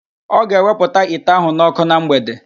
Ọ ga-ewepụta ite ahụ n'okụ na mgbede